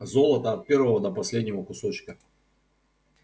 золото от первого до последнего кусочка